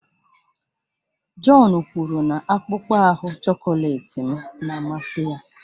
John kwuru na akpụkpọ ahu chọkọletị m na-amasị ya